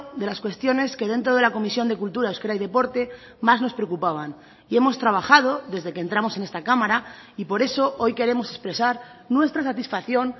de las cuestiones que dentro de la comisión de cultura euskera y deporte más nos preocupaban y hemos trabajado desde que entramos en esta cámara y por eso hoy queremos expresar nuestra satisfacción